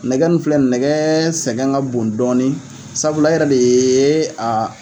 Nɛgɛ nun filɛ ni nɛgɛ sɛgɛn ka bon dɔɔni sabula e yɛrɛ de ye a